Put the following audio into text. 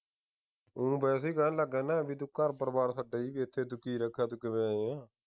ਹਮ ਵੈਸੇ ਈ ਕਹਿ ਲੱਗਾ ਨਾ ਬਈ ਤੂੰ ਘਰ ਪਰਿਵਾਰ ਏਥੇ ਤੂੰ ਕੀ ਰੱਖਿਆ ਤੂੰ ਕਿਵੇਂ ਆਇਆ